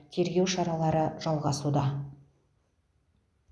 тергеу шаралары жалғасуда